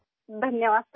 شکریہ سر